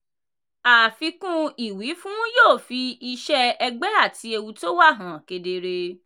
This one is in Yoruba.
àfikún ìwífún yóò fi iṣẹ́ ẹgbẹ́ àti ewu tó wà hàn kedere.